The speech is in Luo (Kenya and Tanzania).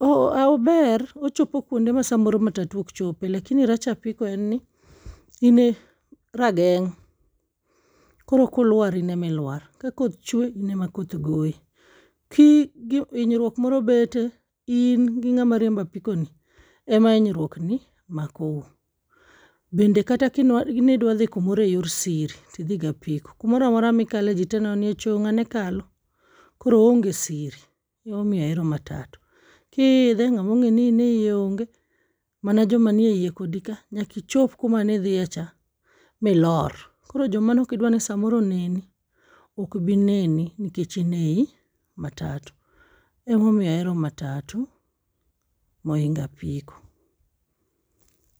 ober ochopo kuonde ma samoro matatu okchope. Lakini rach apiko en ni, in e rageng'. Koro kulwar in e ma ilwar, ka koth chwe in e ma koth ogoyi, kii hinyruok moro bete, in gi ng'ama riembo apiko ni ema hinyruok ni mako u. Bende kata nidwa dhi kumoro e yor siri tidhi gi apiko, kumoramora mikale ji tee neno ni 'e cho ng'ane kalo'. Koro oonge siri. Emomiyo ahero matatu. Kiidhe, ng'ama ong'eyo ni in e iye onge, mana joma ni eiye kodi ka. Nyaka ichop kuma nidhie cha milor. Koro joma nokidwa ni samoro oneni, okbi neni nikech in ei matatu. Emomiyo ahero matatu, mohingo apiko.